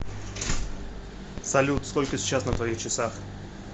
салют сколько сейчас на твоих часах